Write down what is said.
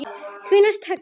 Því næst höggið.